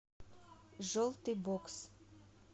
желтый бокс